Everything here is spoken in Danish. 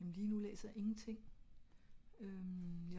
jamen ligenu læser jeg ingenting